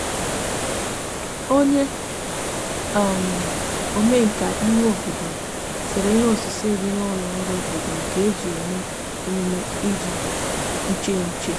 onye omenka ime obodo sere ihe osise di n'ulo ọrụ obodo nke eji eme -emume idi iche iche